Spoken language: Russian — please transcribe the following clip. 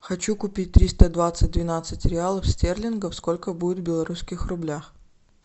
хочу купить триста двадцать двенадцать реалов стерлингов сколько будет в белорусских рублях